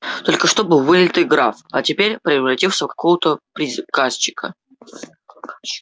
только что был вылитый граф а теперь превратился в какого-то приказчика